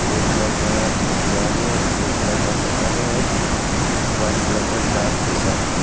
Red colour का design है और ब्लू कलर का शटर है और वाइट कलर का ग्लास जैसा है।